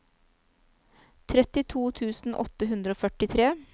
trettito tusen åtte hundre og førtitre